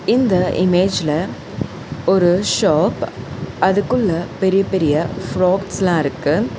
இந்த இமேஜ்ல ஒரு ஷாப் அதுக்குள்ள பெரிய பெரிய ஃபிராக்ஸ்லா இருக்கு.